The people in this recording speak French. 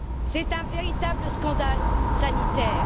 C'est un véritable scandale sanitaire.